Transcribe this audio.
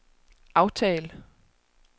aftal